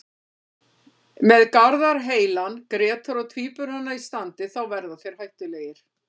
Með Garðar heilan, Grétar og Tvíburana í standi þá verða þeir hættulegir.